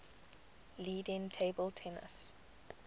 leading table tennis